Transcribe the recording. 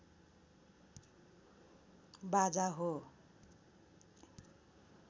बाजा हो